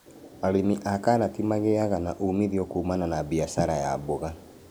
Arĩmi a karati magĩaga ũmithio kumana na mbiacara ya mboga